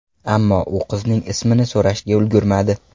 Ammo u qizning ismini so‘rashga ulgurmadi.